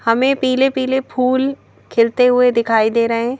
हमें पीले-पीले फूल खिलते हुए दिखाई दे रहे हैं।